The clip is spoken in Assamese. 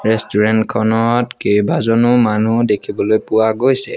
ৰেষ্টোৰেণ্ট খনত কেইবাজনো মানুহ দেখিবলৈ পোৱা গৈছে।